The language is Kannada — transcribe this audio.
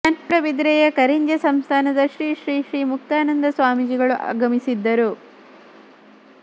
ಮೂಡುಬಿದಿರೆಯ ಕರಿಂಜೆ ಸಂಸ್ಥಾನದ ಶ್ರೀ ಶ್ರೀ ಶ್ರೀ ಮುಕ್ತಾನಂದ ಸ್ವಾಮೀಜಿಗಳು ಆಗಮಿಸಿದ್ದರು